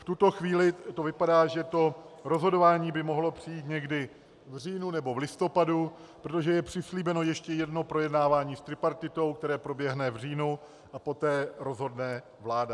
V tuto chvíli to vypadá, že to rozhodování by mohlo přijít někdy v říjnu nebo v listopadu, protože je přislíbeno ještě jedno projednávání s tripartitou, které proběhne v říjnu, a poté rozhodne vláda.